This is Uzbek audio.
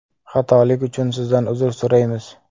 Xatolik uchun Sizdan uzr so‘raymiz.